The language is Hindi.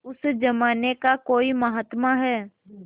उस जमाने का कोई महात्मा है